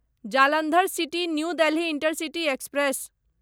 Jalandhar city new Delhi intercity express